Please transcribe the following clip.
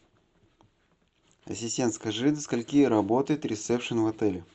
ассистент скажи до скольки работает рессепшен отель